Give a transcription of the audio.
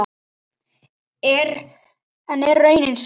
En er raunin sú?